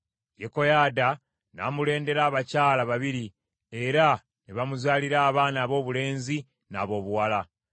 Yekoyaada n’amulondera abakyala babiri, era ne bamuzaalira abaana aboobulenzi n’aboobuwala.